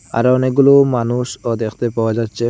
আরো অনেকগুলো মানুষও দেখতে পাওয়া যাচ্চে ।